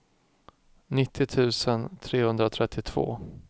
nittio tusen trehundratrettiotvå